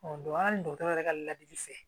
hali dɔgɔtɔrɔ yɛrɛ ka ladili fɛ